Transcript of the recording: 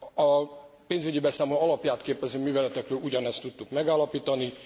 A pénzügyi beszámoló alapját képező műveletekről ugyanezt tudtuk megállapítani.